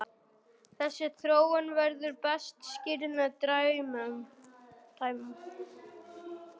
Þessi þróun verður best skýrð með dæmum.